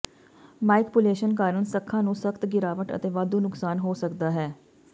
manipulation ਕਾਰਨ ਸੱਖਾਂ ਨੂੰ ਸਖਤ ਗਿਰਾਵਟ ਅਤੇ ਵਾਧੂ ਨੁਕਸਾਨ ਹੋ ਸਕਦਾ ਹੈ